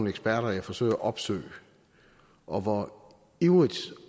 eksperter jeg forsøger at opsøge og hvor ivrigt